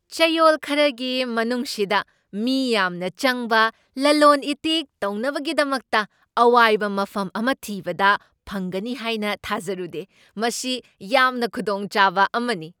ꯆꯌꯣꯜ ꯈꯔꯒꯤ ꯃꯅꯨꯡꯁꯤꯗ ꯃꯤ ꯌꯥꯝꯅ ꯆꯪꯕ ꯂꯂꯣꯟ ꯏꯇꯤꯛ ꯇꯧꯅꯕꯒꯤꯗꯃꯛꯇ ꯑꯋꯥꯏꯕ ꯃꯐꯝ ꯑꯃ ꯊꯤꯕꯗ ꯐꯪꯒꯅꯤ ꯍꯥꯏꯅ ꯊꯥꯖꯔꯨꯗꯦ , ꯃꯁꯤ ꯌꯥꯝꯅ ꯈꯨꯗꯣꯡꯆꯥꯕ ꯑꯃꯅꯤ꯫